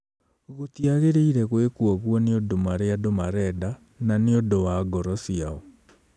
"Gũtiagĩrĩire gwĩkwo ũguo nĩ ũndũ marĩa andũ marenda, na nĩ ũndũ wa ngoro ciao.'